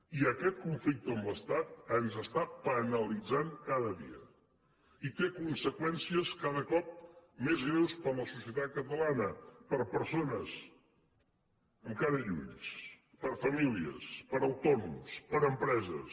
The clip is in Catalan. i aquest conflicte amb l’estat ens està penalitzant cada dia i té conseqüències cada cop més greus per a la societat catalana per a persones amb cara i ulls per a famílies per a autònoms per a empreses